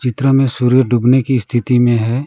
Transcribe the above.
चित्र में सूर्य डूबने की स्थिति में है।